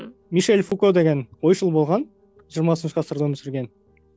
мишель фуко деген ойшыл болған жиырмасыншы ғасырда өмір сүрген